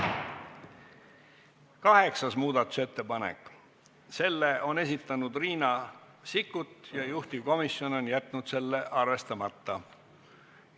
Kaheksas muudatusettepanek, selle on esitanud Riina Sikkut ja juhtivkomisjon on jätnud selle arvestamata.